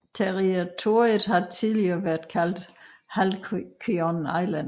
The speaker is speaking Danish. Territoriet har tidligere været kaldt Halcyon Island